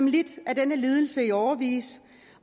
lidt af denne lidelse i årevis